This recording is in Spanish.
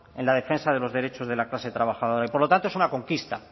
en la defensa de los derechos de la clase trabajadora y por lo tanto es una conquista